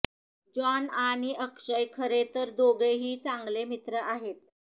John आणि अक्षय खरे तर दोघंही चांगले मित्र आहेत